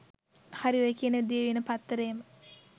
හරි ඔය කියන දිවයින පත්තරේම